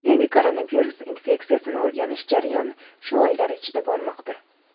Yangi koronavirus infeksiyasini o‘rganish jarayoni shu oylar ichida bormoqda.